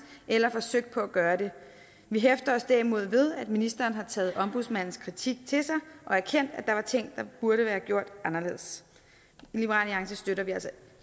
eller have forsøgt på at gøre det vi hæfter os derimod ved at ministeren har taget ombudsmandens kritik til sig og erkendt at der var ting der burde være gjort anderledes liberal alliance støtter